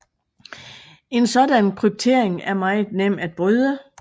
En sådan kryptering er meget nem at bryde